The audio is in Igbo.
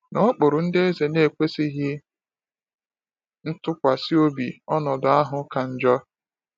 N’okpuru ndị eze na-ekwesịghị ntụkwasị obi, ọnọdụ ahụ ka njọ.